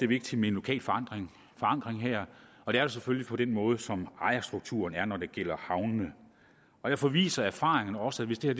vigtigt med en lokal forankring her og det er selvfølgelig den måde ejerstrukturen er på når det gælder havnene og derfor viser erfaringerne også at hvis det